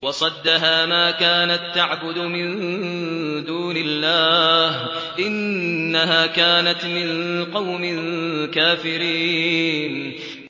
وَصَدَّهَا مَا كَانَت تَّعْبُدُ مِن دُونِ اللَّهِ ۖ إِنَّهَا كَانَتْ مِن قَوْمٍ كَافِرِينَ